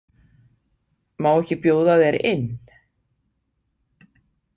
Má ekki bjóða þér inn?